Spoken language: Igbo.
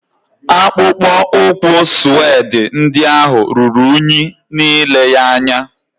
Akpụkpọ ụkwụ sụedị ndị ahụ ruru unyi n'ile ya anya